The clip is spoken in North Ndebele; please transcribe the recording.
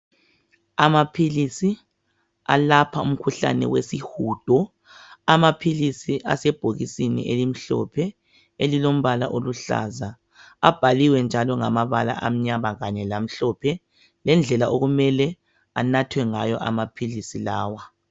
Amaphilisi alapha umkhuhlane wesihudo , amaphilisi asebhokisini elimhlophe elilombala oluhlaza , abhaliwe njalo ngamabala amnyama kanye lamhlophe lendlela okumele anathwe ngayo amaphilisi lawa